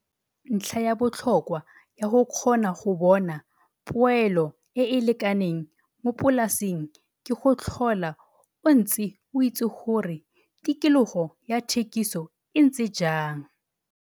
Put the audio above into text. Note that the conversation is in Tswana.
Ntlha ya botlhokwa ya go kgona go bona poelo e e lekaneng mo polaseng ke go tlhola o ntse o itse gore tikologo ya thekiso e ntse jang.